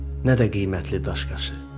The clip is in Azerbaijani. nə də qiymətli daş-qaşı.